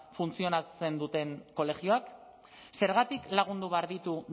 funtzionatzen duten kolegioak zergatik lagundu behar ditu